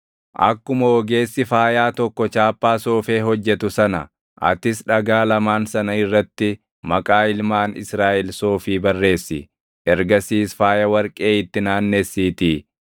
Akkuma ogeessi faayaa tokko chaappaa soofee hojjetu sana atis dhagaa lamaan sana irratti maqaa ilmaan Israaʼel soofii barreessi; ergasiis faaya warqee itti naannessiitii